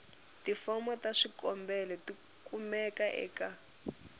tifomo ta swikombelo tikumeka eka